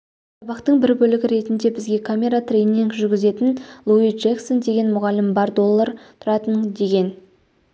сабақтың бір бөлігі ретінде бізге камера трейнинг жүргізетін луи джэксон деген мұғалім бар доллар тұратын деген